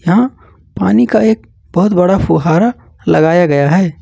यहां पानी एक बहुत बड़ा फुहारा लगाया गया है।